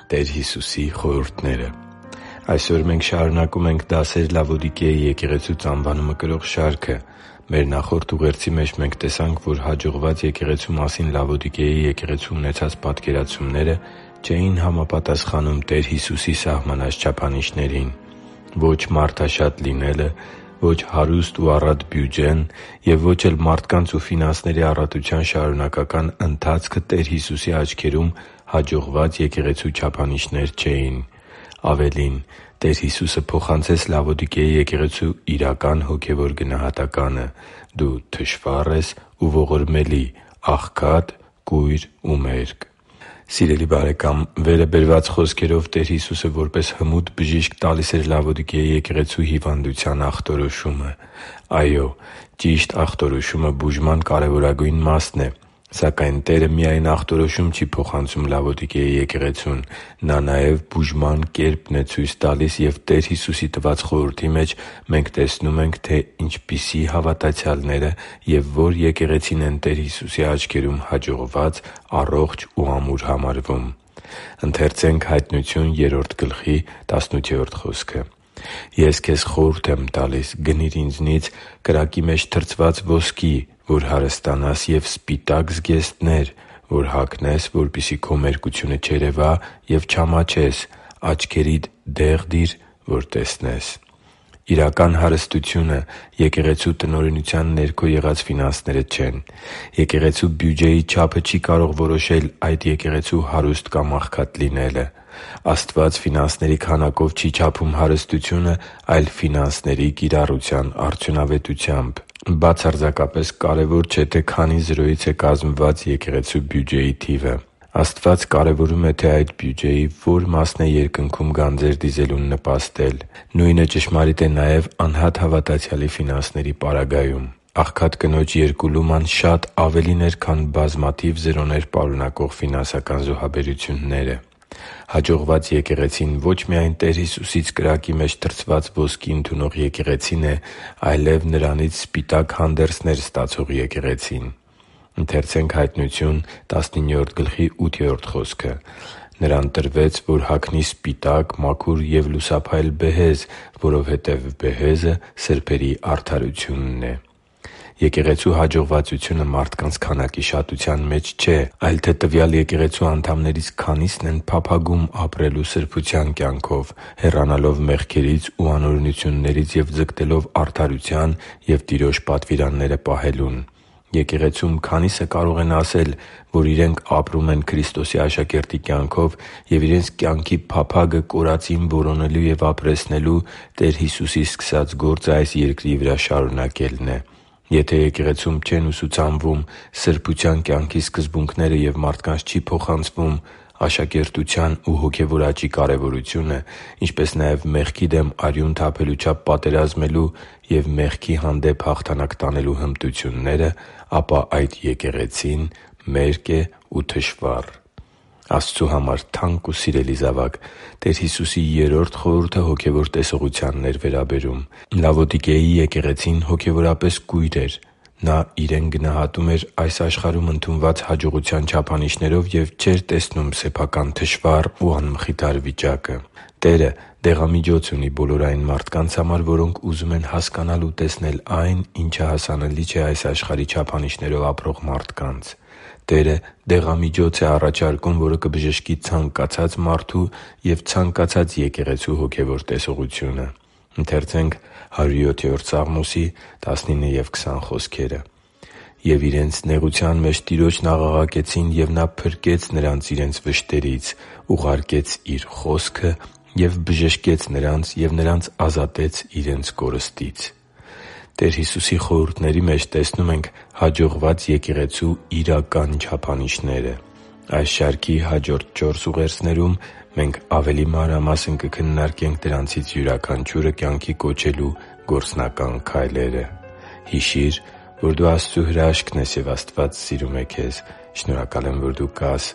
Տեր Հիսուսի խորհուրդները Այսօր մենք շարունակում ենք «Դասեր Լավոդիկեի եկեղեցուց»անվանումը կրող շարքը։ Մեր նախորդ ուղերձի մեջ մենք տեսանք, որ հաջողված եկեղեցու մասին Լավոդիկեի եկեղեցու ունեցած պատկերացումները չէին համապատասխանում Տեր Հիսուսի սահմանած չափանիշներին։ Ո՛չ մարդաշատ լինելը, ո՛չ հարուստ ու առատ բյուջեն և ո՛չ էլ մարդկանց ու ֆինանսների առատության շարունակական ընթացքը Տեր Հիսուսի աչքերում հաջողված եկեղեցու չափանիշներ չէին։ Ավելին՝ Տեր Հիսուսը փոխանցեց Լավոդիկեի եկեղեցու իրական հոգևոր գնահատականը՝ դու թշվառ ես ու ողորմելի, աղքատ, կույր ու մերկ․․․ Սիրելի՛ բարեկամ, վերը բերված խոսքերով Տեր Հիսուսը, որպես հմուտ Բժիշկ, տալիս էր Լավոդիկեի եկեղեցու հիվանդության ախտորոշումը։ Այո՛, ճիշտ ախտորոշումը բուժման կարևորագույն մասն է։ Սակայն Տերը միայն ախտորոշում չի փոխանցում Լավոդիկեի եկեղեցուն։ Նա նաև բուժման կերպն է ցույց տալիս, և Տեր Հիսուսի տված խորհրդի մեջ մենք նաև տեսնում ենք, թե ինչպիսի՛ հավատացյալները և ո՛ր եկեղեցին են Տեր Հիսուսի աչքերում հաջողված, առողջ և ամուր համարվում։ «Ես քեզ խորհուրդ եմ տալիս. գնի՛ր Ինձնից կրակի մեջ թրծված ոսկի, որ հարստանաս, և սպիտակ զգեստներ, որ հագնես, որպեսզի քո մերկությունը չերևա, և չամաչես. աչքերիդ դե՛ղ դիր, որ տեսնես» (Հայտնություն 3․18): Իրական հարստությունը եկեղեցու տնօրինության ներքո եղած ֆինանսները չեն։ Եկեղեցու բյուջեի չափը չի կարող որոշել այդ եկեղեցու հարուստ կամ աղքատ լինելը։ Աստված ֆինանսների քանակով չի չափում հարստությունը, այլ՝ ֆինանսների կիրառության արդյունավետությամբ։ Բացարձակապես կարևոր չէ, թե քանի զրոյից է կազմված եկեղեցու բյուջեն։ Աստված կարևորում է, թե այդ բյուջեի ո՛ր մասն է Երկնքում գանձեր դիզելուն նպաստել։ Նույնը ճշմարիտ է նաև անհատ հավատացյալի ֆինանսների պարագայում։ Աղքատ կնոջ երկու լուման շատ ավելին էր, քան բազմաթիվ զրոներ պարունակող ֆինանսական զոհաբերությունները։ Հաջողված եկեղեցին ո՛չ միայն Տեր Հիսուսից կրակի մեջ թրծված ոսկի ընդունող եկեղեցին է, այլև Նրանից սպիտակ հանդերձներ ստացող եկեղեցին։ «Նրան տրվեց, որ հագնի սպիտակ, մաքուր և լուսափայլ բեհեզ», որովհետև բեհեզը սրբերի արդարությունն է» (Հայտնություն 19․8): Եկեղեցու հաջողվածությունը մարդկանց քանակի շատության մեջ չէ, այլ թե տվյալ եկեղեցու անդամներից քանի՞սն են փափագում ապրել սրբության կյանքով՝ հեռանալով մեղքերից ու անօրենություններից և ձգտելով արդարության և Տիրոջ պատվիրանները պահելուն։ Եկեղեցում քանի՞սը կարող են ասել, որ իրենք ապրում են Քրիստոսի աշակերտի կյանքով և իրենց կյանքի փափագը կորածին որոնելու և ապրեցնելու՝ Տեր Հիսուսի սկսած գործը այս երկրի վրա շարունակելն է։ Եթե եկեղեցում չեն ուսուցանվում սրբության կյանքի սկզբունքները և մարդկանց չի փոխանցվում աշակերտության ու հոգևոր աճի կարևորությունը, ինչպես նաև մեղքի դեմ արյուն թափելու չափ պատերազմելու և մեղքի հանդեպ հաղթանակ տանելու հմտությունները, ապա այդ եկեղեցին մերկ է ու թշվառ․․․ Աստծու համար թանկ ու սիրելի՛ զավակ, Տեր Հիսուսի երրորդ խորհուրդը հոգևոր տեսողությանն էր վերաբերում։ Լավոդիկեի եկեղեցին հոգևորապես կույր էր։ Նա իրեն գնահատում էր այս աշխարհում ընդունված հաջողության չափանիշներով և չէր տեսնում սեփական թշվառ ու անմխիթար վիճակը։ Տերը դեղամիջոց ունի բոլոր այն մարդկանց համար, որոնք ուզում են հասկանալ ու տեսնել այն, ինչը հասանելի չէ այս աշխարհի չափանիշներով ապրող մարդկանց։ Տերը դեղամիջոց է առաջարկում, որը կբժշկի ցանկացած մարդու և ցանկացած եկեղեցու հոգևոր տեսողությունը։ «Եվ իրենց նեղության մեջ Տիրոջն աղաղակեցին, և Նա փրկեց նրանց իրենց վշտերից. Ուղարկեց Իր խոսքը և բժշկեց նրանց և նրանց ազատեց իրենց կորստից» (Սաղմոս 107․19-20): Տեր Հիսուսի խորհուրդների մեջ տեսնում ենք հաջողված եկեղեցու իրական չափանիշները։ Այս շարքի հաջորդ չորս ուղերձներում մենք ավելի մանրամասն կքննարկենք դրանցից յուրաքանչյուրը կյանքի կոչելու գործնական քայլերը։ Հիշի՛ր, որ դու Աստծո հրաշքն ես, և Աստված սիրում է քեզ։ Շնորհակալ եմ, որ դու կա՛ս